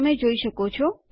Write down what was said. તમે જોઈ શકો છો